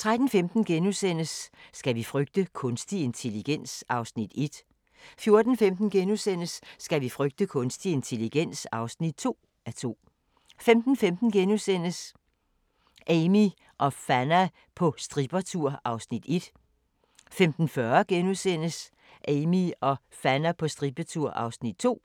13:15: Skal vi frygte kunstig intelligens? (1:2)* 14:15: Skal vi frygte kunstig intelligens? (2:2)* 15:15: Amie og Fanna på strippertur (Afs. 1)* 15:40: Amie og Fanna på strippertur (Afs. 2)*